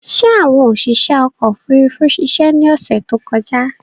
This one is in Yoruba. Ṣé àwọn oṣiṣé ọkò òfurufú ṣiṣe ni ọ̀sè tí ó kọjá?